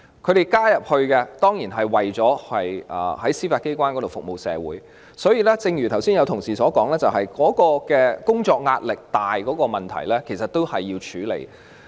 他們加入司法機關，當然是為了服務社會，但正如剛才有同事提及，工作壓力沉重的問題，其實亦需要處理。